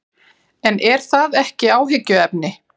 En er það ekki áhyggjuefni?